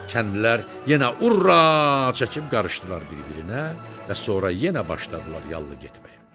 Kəndlilər yenə hurra çəkib qarışdılar bir-birinə və sonra yenə başladılar yallı getməyə.